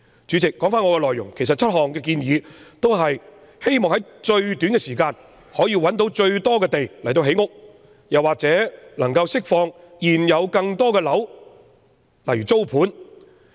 主席，說回我的議案內容，其實7項建議均旨在於最短時間內找到最多土地建屋或釋放更多現有單位以提供租盤。